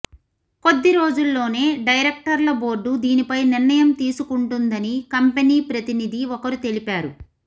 కొద్ది రోజుల్లోనే డెరైక్టర్ల బోర్డు దీనిపై నిర్ణయం తీసుకుంటుందని కంపెనీ ప్రతినిధి ఒకరు తెలిపారు